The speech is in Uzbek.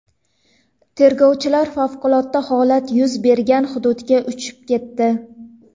Tergovchilar favqulodda holat yuz bergan hududga uchib ketdi.